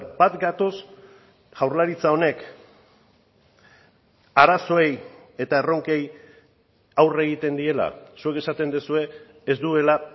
bat gatoz jaurlaritza honek arazoei eta erronkei aurre egiten diela zuek esaten duzue ez duela